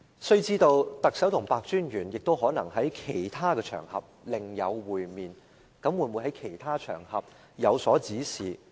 須知道，特首和白專員可能在其他場合另有會面，他會否在其他場合有所指示？